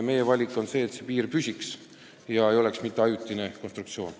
Meie valik on see, et piir püsiks, et ei oleks ajutine konstruktsioon.